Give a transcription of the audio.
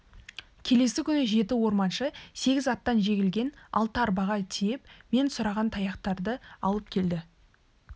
келесі күні жеті орманшы сегіз аттан жегілген алты арбаға тиеп мен сұраған таяқтарды алып келді